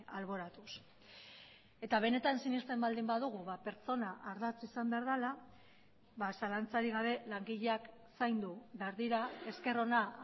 alboratuz eta benetan sinesten baldin badugu pertsona ardatz izan behar dela zalantzarik gabe langileak zaindu behar dira esker ona